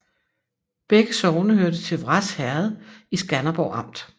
Begge sogne hørte til Vrads Herred i Skanderborg Amt